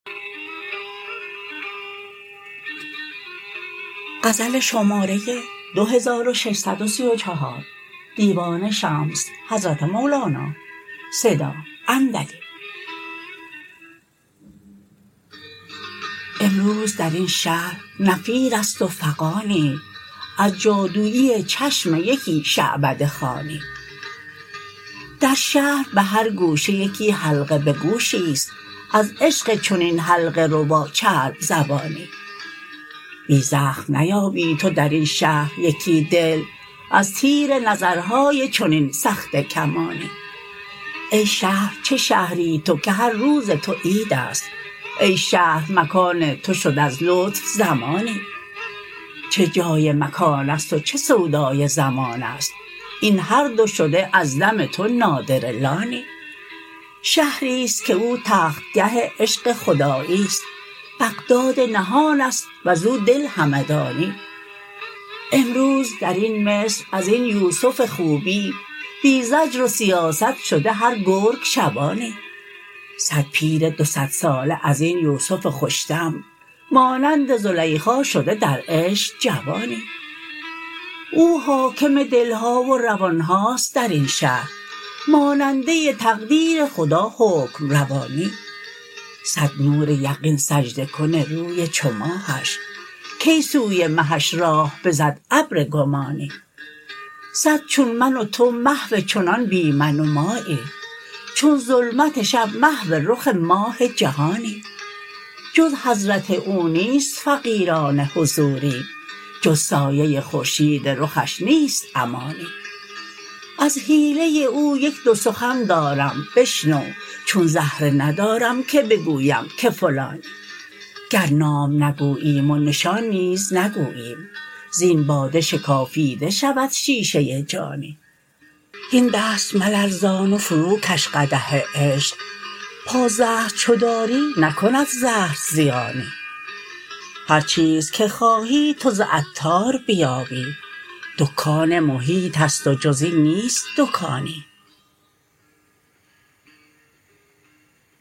امروز در این شهر نفیر است و فغانی از جادوی چشم یکی شعبده خوانی در شهر به هر گوشه یکی حلقه به گوشی است از عشق چنین حلقه ربا چرب زبانی بی زخم نیابی تو در این شهر یکی دل از تیر نظرهای چنین سخته کمانی ای شهر چه شهری تو که هر روز تو عید است ای شهر مکان تو شد از لطف زمانی چه جای مکان است و چه سودای زمان است ای هر دو شده از دم تو نادره لانی شهری است که او تختگه عشق خدایی است بغداد نهان است وز او دل همدانی امروز در این مصر از این یوسف خوبی بی زجر و سیاست شده هر گرگ شبانی صد پیر دو صدساله از این یوسف خوش دم مانند زلیخا شده در عشق جوانی او حاکم دل ها و روان هاست در این شهر ماننده تقدیر خدا حکم روانی صد نور یقین سجده کن روی چو ماهش کی سوی مهش راه بزد ابر گمانی صد چون من و تو محو چنان بی من و مایی چون ظلمت شب محو رخ ماه جهانی جز حضرت او نیست فقیرانه حضوری جز سایه خورشید رخش نیست امانی از حیله او یک دو سخن دارم بشنو چون زهره ندارم که بگویم که فلانی گر نام نگوییم و نشان نیز نگوییم زین باده شکافیده شود شیشه جانی هین دست ملرزان و فروکش قدح عشق پازهر چو داری نکند زهر زیانی هر چیز که خواهی تو ز عطار بیابی دکان محیط است و جز این نیست دکانی